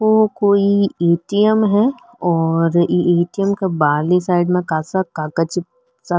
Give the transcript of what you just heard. ओ कोई ए.टी.एम. है और ई ए.टी.एम. क बारली साइड में कासा कागज सा --